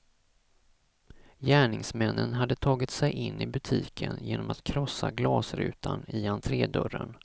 Gärningsmännen hade tagit sig in i butiken genom att krossa glasrutan i entrédörren.